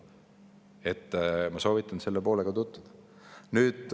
Nii et ma soovitan teil selle poolega tutvuda.